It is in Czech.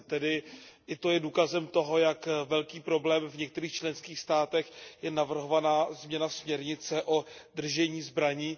Tedy i to je důkazem toho, jak velký problém v některých členských státech je navrhovaná změna směrnice o držení zbraní.